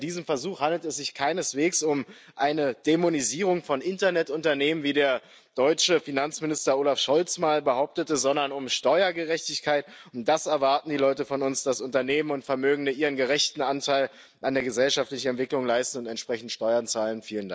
Bei diesem Versuch handelt es sich keineswegs um eine Dämonisierung von Internetunternehmen, wie der deutsche Finanzminister Olaf Scholz mal behauptete, sondern um Steuergerechtigkeit. Das erwarten die Leute von uns Dass Unternehmen und Vermögende ihren gerechten Anteil an der gesellschaftlichen Entwicklung leisten und entsprechend Steuern zahlen.